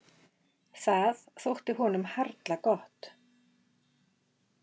Það þótti honum harla gott.